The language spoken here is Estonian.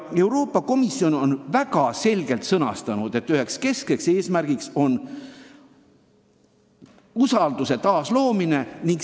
Euroopa Komisjon on väga selgelt sõnastanud, et üks keskne eesmärk on usalduse taasloomine.